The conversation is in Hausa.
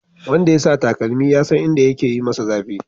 Wanda ya sa takalmin ya san inda yake yi masa zafi